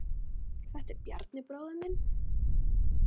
Þetta er Bjarni, bróðir minn.